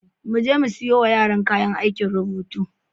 Mu je mu siyo wa yaran kayan aikin rubutu.